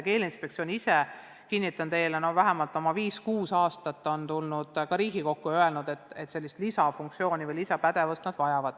Keeleinspektsioon on ise, ma kinnitan teile, vähemalt oma viis-kuus aastat esitanud ka Riigikogule soovi, et nad vajavad sellist lisafunktsiooni või lisapädevust.